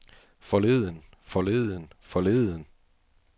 forleden forleden forleden